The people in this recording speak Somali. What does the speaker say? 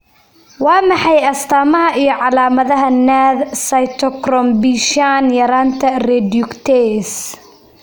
Waa maxay astamaha iyo calaamadaha NADH cytochrome B shan yaranta reductase ?